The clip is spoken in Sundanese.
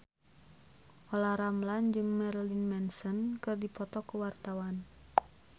Olla Ramlan jeung Marilyn Manson keur dipoto ku wartawan